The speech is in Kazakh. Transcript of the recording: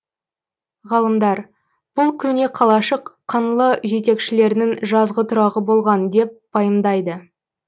ғалымдар бұл көне қалашық қаңлы жетекшілерінің жазғы тұрағы болған деп пайымдайды